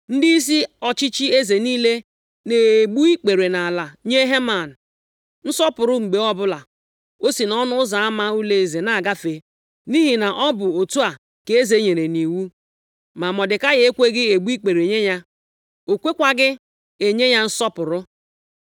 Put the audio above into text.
Ndịisi ọchịchị eze niile na-egbu ikpere nʼala nye Heman nsọpụrụ mgbe ọbụla o si nʼọnụ ụzọ ama ụlọeze na-agafe, nʼihi na ọ bụ otu a ka eze nyere nʼiwu. Ma Mọdekai ekweghị egbu ikpere nye ya, ọ kwekwaghị enye ya nsọpụrụ.